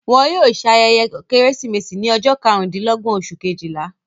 Wọn yóò ṣe ayẹyẹ Kérésìmesì ní ọjọ́ karùn-dín-lọ́gbọ̀n, oṣù Kejìlá.